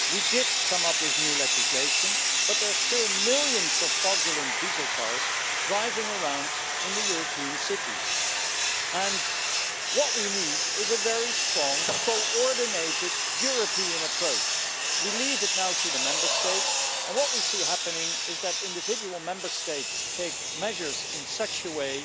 We did come up with new legislation but there are still millions of fraudulent diesel cars being driven around European cities, and what we need is a very strong coordinated European approach. At the moment it is left to the Member States, and what we see happening is that individual Member States take measures in such a way